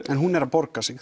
en hún er að borga sig